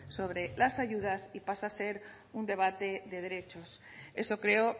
sobre las ayudas y pase a ser un debate de derechos eso creo